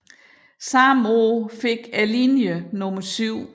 Samme år fik linjen nummer 7